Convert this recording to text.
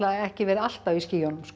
ekki verið alltaf í skýjunum sko